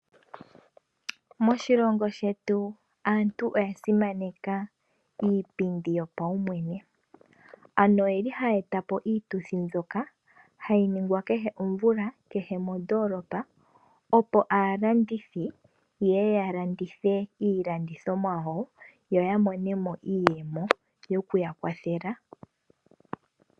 Moshilongo shetu aantu oya simaneka iipindi yopaumwene, ano oyi li haya eta po iituthi mbyoka hayi ningwa kehe komvula kehe mondolopa. Opo aalandithi yeye ya landithe iilandithomwa yawo, yo ya mone mo iiyemo yo ku ya kwathela.